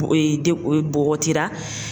de o bɔgɔtira